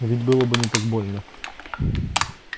ведь было бы не так больно